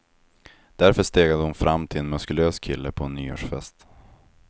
Därför stegade hon fram till en muskulös kille på en nyårsfest.